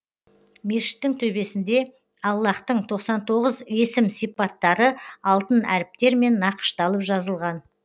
мешіттің төбесінде аллаһтың тоқсан тоғыз есім сипаттары алтын әріптермен нақышталып жазылған